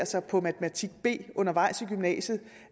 sig på matematik b undervejs i gymnasiet